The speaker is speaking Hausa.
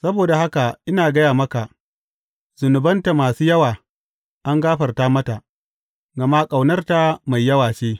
Saboda haka ina gaya maka, zunubanta masu yawa, an gafarta mata, gama ƙaunarta mai yawa ce.